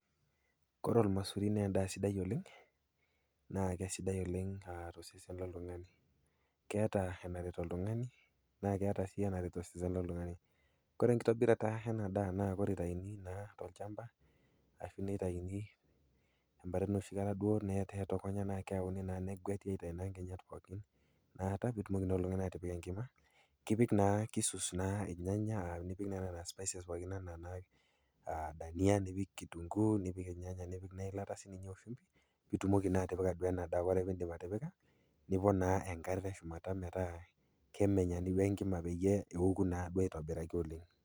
Kore ormasuri naa endaa sidai oleng na keisidai oleng tosesen loltung'ani keeta enaret oltung'ani naa keeta sii enaret osese loltung'ani kore enkitobirata ena daa naitaini naa tolchamba ashuu inaitaini embata enoshi kata duo egueti aitayu naa inkinyat pookin peetumoki naa atipik enkima kipik naa keisus naa irnyanya enaa nena spices pookin aa dania nipik kitunkuu nipik irnyanya nipik eilata siininye peeitumoki naa atipika endaa ore peeitumoki atipika nipik naa enkare teshumata meeta kemenya ninye enkima ninye pee eku naa aitobiraki oleng